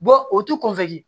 o tu kɔfɛ de